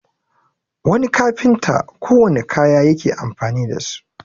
wani kafinta kowanne kaya yake amfani da su